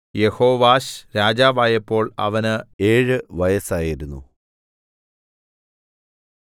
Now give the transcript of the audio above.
യെഹോവാശ് രാജാവായപ്പോൾ അവന് ഏഴ് വയസ്സായിരുന്നു